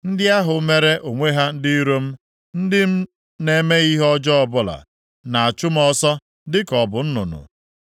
Ndị ahụ mere onwe ha ndị iro m, ndị m na-emeghị ihe ọjọọ ọbụla, na-achụ m ọsọ dịka m bụ nnụnụ.